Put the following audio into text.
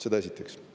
Seda esiteks.